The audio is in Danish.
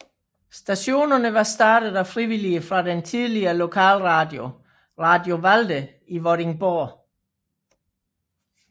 Stationen var startet af frivillige fra den tidligere lokalradio Radio Valde i Vordingborg